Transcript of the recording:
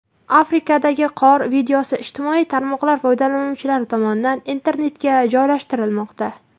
Afrikadagi qor videosi ijtimoiy tarmoqlar foydalanuvchilari tomonidan internetga joylashtirilmoqda.